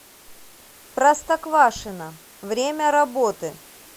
простоквашино время работы